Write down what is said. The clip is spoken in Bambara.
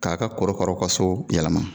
K'a ka korokaraw ka so yɛlɛma